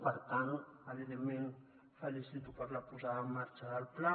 per tant evidentment felicito per la posada en marxa del pla